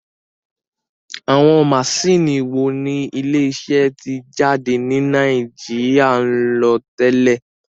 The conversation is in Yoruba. Àwọn maṣíìnì wo ni ilé iṣẹ́ títẹ̀ jáde ní Nàìjíríà ń lò tẹ́lẹ̀?